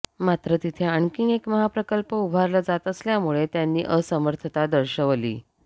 मात्र तिथे आणखी एक महाप्रकल्प उभारला जात असल्यामुळे त्यांनी असमर्थता दर्शवली